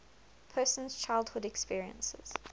person's childhood experiences